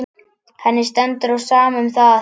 Henni stendur á sama um það.